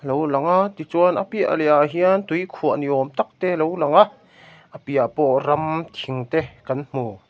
alo lang a tichuan a piah leh ah hian tuikhuah ni awm tak te alo lang a a piah pawh ram thing te kan hmu.